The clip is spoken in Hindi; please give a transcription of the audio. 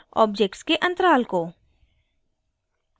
* objects के अंतराल को